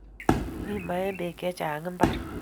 mi maembek chechang mbar